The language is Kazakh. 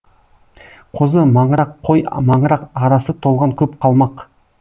қозы маңырақ қой маңырақ арасы толған көп қалмақ